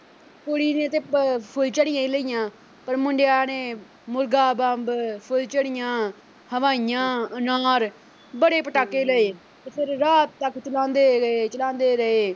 ਜੀ ਕੁੜੀ ਨੇ ਤੇ ਫੁੱਲਝੜੀਆਂ ਹੀ ਲਈਆਂ ਤੇ ਮੁੰਡਿਆਂ ਨੇ ਮੁਰਗਾ ਬੰਬ, ਫੁੱਲਝੜੀਆਂ, ਹਵਾਈਆਂ, ਅਨਾਰ ਬੜੇ ਪਟਾਕੇ ਲਏ ਤੇ ਫਿਰ ਰਾਤ ਤੱਕ ਚਲਾਂਦੇ ਰਹੇ ਚਲਾਂਦੇ ਰਹੇ।